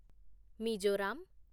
Mizoram